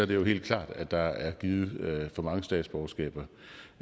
det jo helt klart at der er givet for mange statsborgerskaber